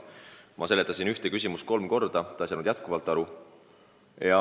Ma seletasin ühte asja kolm korda, ta ei saanud ikka aru.